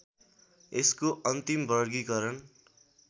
यसको अन्तिम वर्गीकरण